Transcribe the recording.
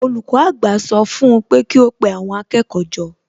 Olùkọ́ àgbà sọ fún un pé kí ó pe àwọn akẹ́kọ̀ọ́ jọ